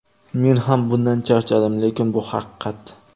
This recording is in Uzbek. Men ham bundan charchadim, lekin bu haqiqat.